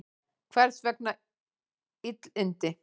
Hvers vegna illindi?